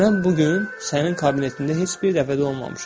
Mən bu gün sənin kabinetində heç bir dəfə də olmamışam.